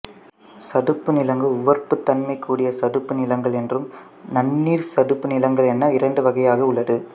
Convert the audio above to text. சதுப்பு நிலங்கள் உவர்ப்புத் தன்மை கூடிய சதுப்பு நிலங்கள் என்றும் நன்னீர் சதுப்பு நிலங்கள் என இரண்டு வகையாக உள்ளது